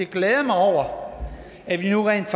glæder mig over at vi nu rent